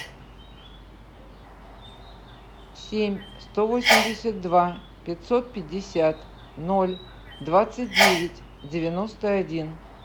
семь сто восемьдесят два пятьсот пятьдесят ноль двадцать девять девяносто один